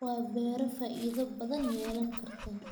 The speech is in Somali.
Waa beero faa'iido badan yeelan karta